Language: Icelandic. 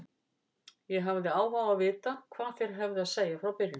Ég hafði áhuga á því að vita hvað þeir hefðu að segja frá byrjun.